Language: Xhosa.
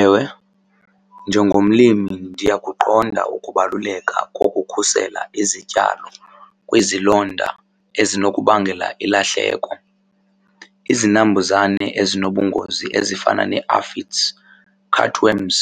Ewe, njengomlimi ndiyakuqonda ukubaluleka kokukhusela izityalo kwizilonda ezinokubangela ilahleko. Izinambuzane ezinobungozi ezifana nee-afits, cartworms